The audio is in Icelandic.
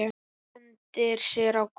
Hendir sér á gólfið.